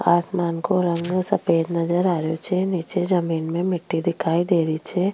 आसमान को रंग सफ़ेद नजर आ रो छे निचे जमीं में मिट्टी दिखाई दे रही छे।